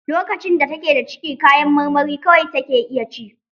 Lokacin da take da ciki kayan marmari kawai take iya ci.